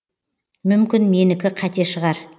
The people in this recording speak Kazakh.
мүмкін менікі қате шығар